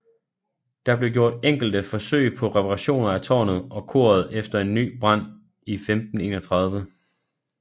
Der blev gjort enkelte forsøg på reparationer af tårnet og koret efter en ny brand i 1531